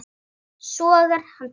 Sogar hana til sín.